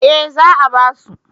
Eh za a ba su